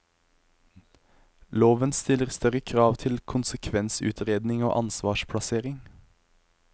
Loven stiller større krav til konsekvensutredning og ansvarsplassering.